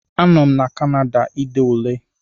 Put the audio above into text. A nọ m na Kanada ide Ule